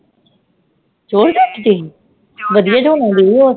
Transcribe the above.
Georgette ਸੀ? ਵਧੀਆ ਚ ਹੋਣਾ ਦੀਦੀ ਓ